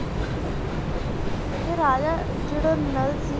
ਤੇ ਰਾਜਾ ਜਿਹੜਾ ਨਲ ਸੀ